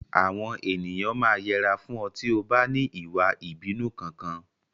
Àwọn ènìyàn máa yẹra fún ọ tí o bá ní ìwà ìbínú Kankan.